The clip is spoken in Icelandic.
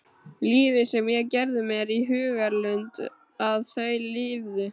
Lífið sem ég gerði mér í hugarlund að þau lifðu.